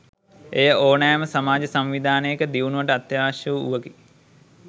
එය ඕනෑම සමාජ සංවිධානයක දියුණුවට අත්‍යාවශ්‍ය වූවකි.